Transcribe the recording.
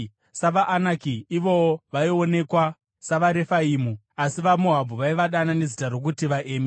SavaAnaki ivowo vaionekwa savaRefaimu, asi vaMoabhu vaivadana nezita rokuti vaEmi.